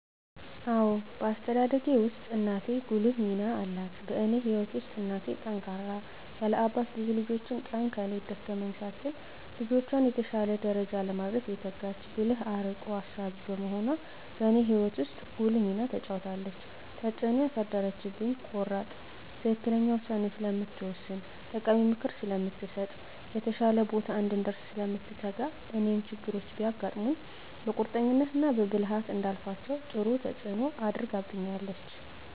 አዎ በአስተዳደጌ ውስጥ እናቴ ጉልህ ሚና አላት በእኔ ህይወት ውስጥ እናቴ ጠንካራ ያለ አባት ብዙ ልጆችን ቀን ከሌት ደከመኝ ሳትል ልጆቿን የተሻለ ደረጃ ለማድረስ የተጋች ብልህ አርቆ አሳቢ በመሆኗ በእኔ ህይወት ውስጥ ጉልህ ሚና ተጫውታለች። ተፅእኖ ያሳደረችብኝ ቆራጥ ትክክለኛ ውሳኔ ስለምትወስን ጠቃሚ ምክር ስለምትሰጥ፣ የተሻለ ቦታ እንድንደርስ ስለምትተጋ እኔም ችግሮች ቢያጋጥሙኝ በቁርጠኝነት እና በብልሀት እንዳልፋቸው ጥሩ ተፅኖ አድርጋብኛለች።